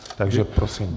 Takže prosím.